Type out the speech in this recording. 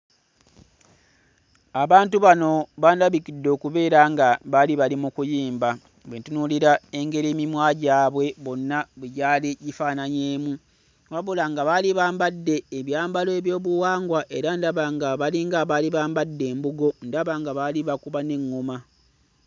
Abantu bano bandabikidde okubeera nga baali bali mu kuyimba bwe ntunuulira engeri emimwa gyabwe bonna bwe gyali gifaananyeemu, wabula nga baali bambadde ebyambalo ebyobuwangwa era ndaba nga balinga abaali bambadde embugo, ndaba nga baali bakuba n'eŋŋoma.